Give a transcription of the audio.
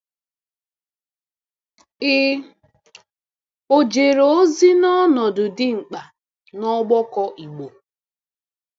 Ị ọ̀ jere ozi n’ọnọdụ dị mkpa n’ọgbakọ Igbo?